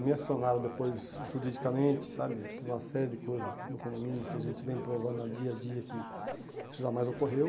Me acionaram depois, juridicamente, sabe, por uma série de coisas no condomínio que a gente vem provando a dia a dia que isso jamais ocorreu.